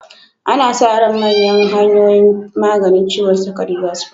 Ana sa ran manyan hanyoyin maganin ciwon sukari zasu fito.